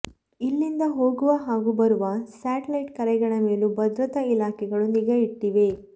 ಇಲ್ಲಿಂದ ಹೋಗುವ ಹಾಗೂ ಬರುವ ಸೆಟಲೈಟ್ ಕರೆಗಳ ಮೇಲೂ ಭದ್ರತಾ ಇಲಾಖೆಗಳು ನಿಗಾ ಇಟ್ಟಿವೆ